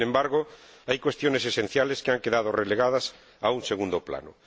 Sin embargo, hay cuestiones esenciales que han quedado relegadas a un segundo plano.